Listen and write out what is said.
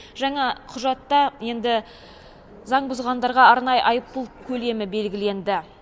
жаңа құжатта енді заң бұзғандарға арнайы айыппұл көлемі белгіленді